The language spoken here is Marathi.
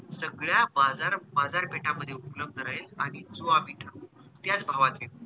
सगळ्या बाजार, बाजार पेठा मध्ये उपलब्ध राहील आणि जो आम्ही ठरवल त्याच भावाचे